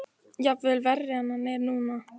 Jafnvel verri en hann er núna.